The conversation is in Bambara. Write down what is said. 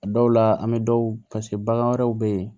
A dɔw la an bɛ dɔw paseke bagan wɛrɛw bɛ yen